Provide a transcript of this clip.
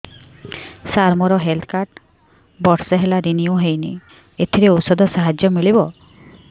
ସାର ମୋର health card ବର୍ଷେ ହେଲା ରିନିଓ ହେଇନି ଏଥିରେ ଔଷଧ ସାହାଯ୍ୟ ମିଳିବ